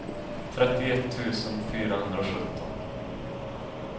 trettioett tusen fyrahundrasjutton